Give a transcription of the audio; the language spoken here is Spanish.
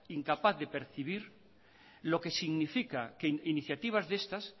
incapaz de percibir lo que significa que iniciativas de estas